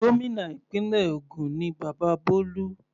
Gómìnà ìpínlẹ̀ ògùn ni bàbá Bolu.